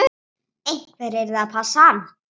Einhver yrði að passa hann.